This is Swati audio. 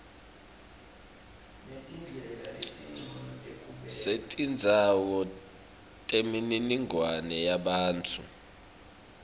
setindzawo temininingwane yebantfu